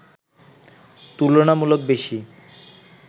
তুলনামূলক বেশি